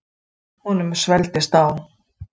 Honum svelgdist á.